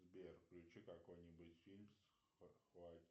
сбер включи какой нибудь фильм